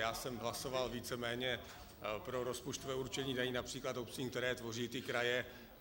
Já jsem hlasoval víceméně pro rozpočtové určení daní například obcím, které tvoří ty kraje.